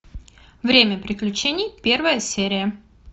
время приключений первая серия